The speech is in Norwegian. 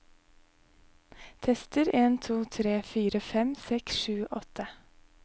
Tester en to tre fire fem seks sju åtte